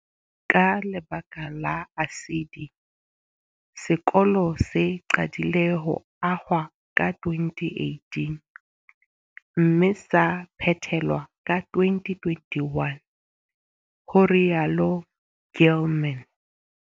Ka lebaka la ASIDI, sekolo se qadile ho ahwa ka 2018 mme sa phethelwa ka 2021, ho rialo Gilman.